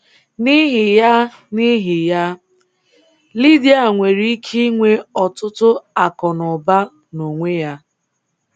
N'ihi ya, N'ihi ya, Lydia nwere ike inwe ọtụtụ akụnaụba n'onwe ya.